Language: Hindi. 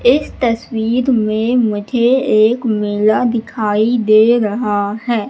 इस तस्वीर में मुझे एक मेला दिखाई दे रहा है।